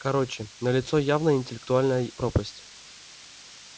короче налицо явная интеллектуальная пропасть